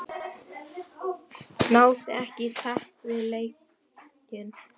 Náði ekki takt við leikinn.